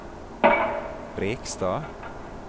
Brekstad